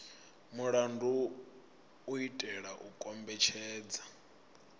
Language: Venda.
mulandu u itela u kombetshedza